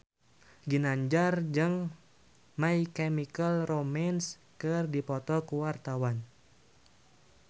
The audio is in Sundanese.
Ginanjar jeung My Chemical Romance keur dipoto ku wartawan